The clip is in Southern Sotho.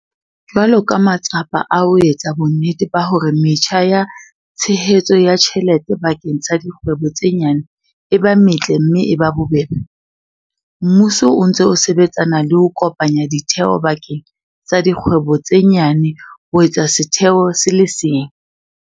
Jwalo ka matsapa a ho etsa bonnete ba hore metjha ya tshehetso ya tjhelete bakeng sa dikgwebo tse nyane e ba metle mme e ba bobebe, mmuso o ntse o sebetsana le ho kopanya ditheo bakeng sa dikgwebo tse nyane ho etsa setheo se le seng.